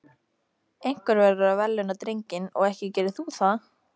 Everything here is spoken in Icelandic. Einhver verður að verðlauna drenginn og ekki gerir þú það.